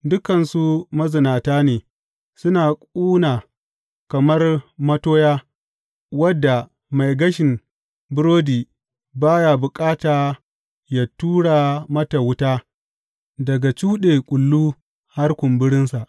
Dukansu mazinata ne suna ƙuna kamar matoya wadda mai gashin burodi ba ya bukata yă tura mata wuta daga cuɗe kullu har kumburinsa.